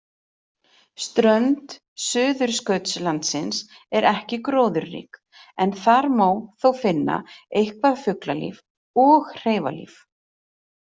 Strönd Suðurskautslandsins er ekki gróðurrík en þar má þó finna eitthvað fuglalíf og hreifadýr.